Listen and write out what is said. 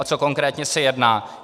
O co konkrétně se jedná?